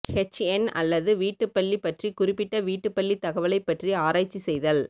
ஹெச்என் அல்லது வீட்டுப்பள்ளி பற்றி குறிப்பிட்ட வீட்டுப்பள்ளித் தகவலைப் பற்றி ஆராய்ச்சி செய்தல்